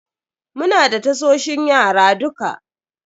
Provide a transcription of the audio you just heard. Muna da tasoshin yara duka.